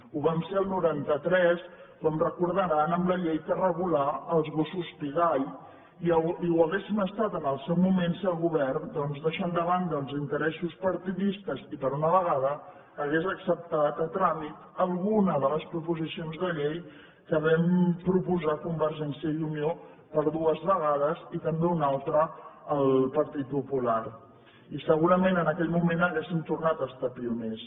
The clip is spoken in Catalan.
ho vam ser el noranta tres com deuen recordar amb la llei que regulà els gossos pigall i ho hauríem estat en el seu moment si el govern doncs deixant de banda els interessos partidistes i per una vegada hagués acceptat a tràmit alguna de les proposicions de llei que vam proposar convergència i unió per dues vegades i també una altra el partit popular i segurament en aquell moment hauríem tornat a estar pioners